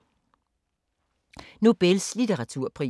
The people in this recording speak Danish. Nobels litteraturpris